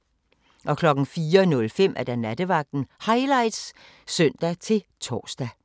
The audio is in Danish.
04:05: Nattevagten Highlights (søn-tor)